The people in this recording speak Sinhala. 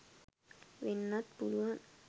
වෙන්නත් පුළුවන්